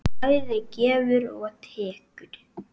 Hún bæði gefur og tekur.